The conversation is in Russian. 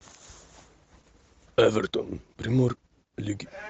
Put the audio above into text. эвертон премьер лиги